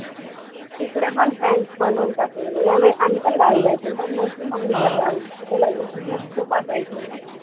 तीकडेपण friends बनवून टाकलेले. त्यामुळे आम्हीपण गावी जायचे. पण मोठी mummy च्या गावी. तिकडे लग्नं-वग्न खूप असायचे ना.